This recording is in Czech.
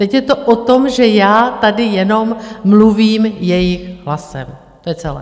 Teď je to o tom, že já tady jenom mluvím jejich hlasem, to je celé.